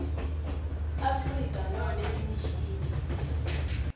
afrika nobe imishini